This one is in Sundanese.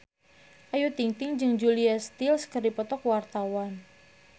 Ayu Ting-ting jeung Julia Stiles keur dipoto ku wartawan